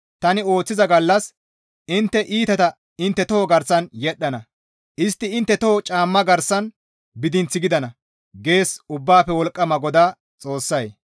Tani ooththiza gallas intte iitata intte toho garsan yedhdhana; istti intte toho caamma garsan bidinth gidana» gees Ubbaafe Wolqqama GODAA Xoossay.